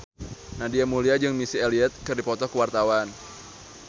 Nadia Mulya jeung Missy Elliott keur dipoto ku wartawan